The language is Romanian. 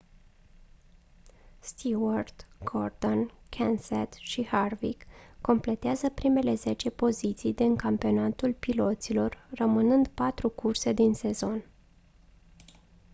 stewart gordon kenseth și harvick completează primele zece poziții din campionatul piloților rămânând patru curse din sezon